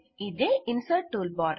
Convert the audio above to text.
ఇదే insert tool bar